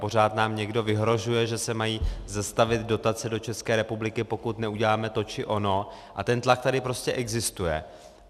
Pořád nám někdo vyhrožuje, že se mají zastavit dotace do České republiky, pokud neuděláme to či ono, a ten tlak tady prostě existuje.